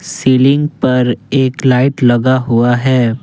Ceiling पर एक light लगा हुआ है।